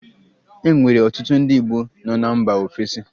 E nwere ọtụtụ ndị Igbo nọ na mba ofesi